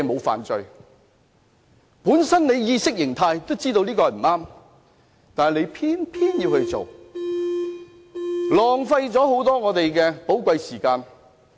反對派議員在意識中都知道這樣不對，但仍偏偏要做，浪費了立法會很多寶貴時間。